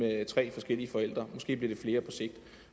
tre forskellige forældre måske bliver det flere på sigt